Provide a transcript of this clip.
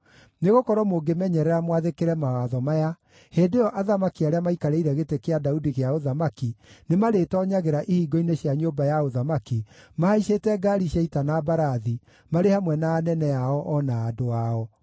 Nĩgũkorwo mũngĩmenyerera mwathĩkĩre mawatho maya, hĩndĩ ĩyo athamaki arĩa maikarĩire gĩtĩ kĩa Daudi gĩa ũthamaki nĩmarĩtoonyagĩra ihingo-inĩ cia nyũmba ya ũthamaki, mahaicĩte ngaari cia ita na mbarathi, marĩ hamwe na anene ao, o na andũ ao.